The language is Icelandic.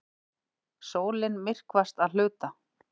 Sólin myrkvast að hluta